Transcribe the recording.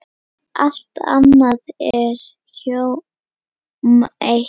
Allt annað er hjóm eitt.